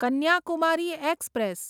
Kanyakumari express